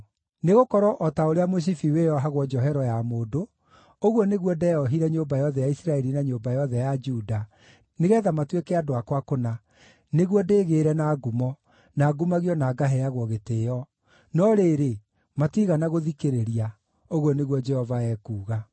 Nĩgũkorwo o ta ũrĩa mũcibi wĩohagwo njohero ya mũndũ, ũguo nĩguo ndeohire nyũmba yothe ya Isiraeli na nyũmba yothe ya Juda, nĩgeetha matuĩke andũ akwa kũna, nĩguo ndĩgĩĩre na ngumo, na ngumagio na ngaheagwo gĩtĩĩo. No rĩrĩ, matiigana gũthikĩrĩria,’ ũguo nĩguo Jehova ekuuga.